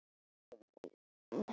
Þá kemur út tígull.